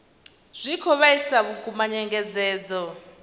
zwi khou vhaisa vhukuma nyengedzedzo